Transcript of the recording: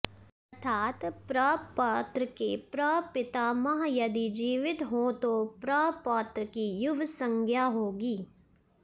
अर्थात् प्रपौत्र के प्रपितामह यदि जीवित हों तो प्रपौत्र की युव संज्ञा होगी